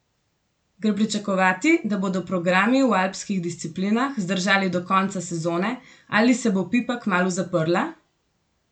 Gre pričakovati, da bodo programi v alpskih disciplinah zdržali do konca sezone, ali se bo pipa kmalu zaprla?